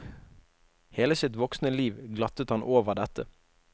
Hele sitt voksne liv glattet han over dette.